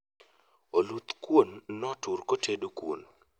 Oluth kuon notur kotedo kuon